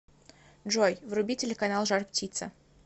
джой вруби телеканал жар птица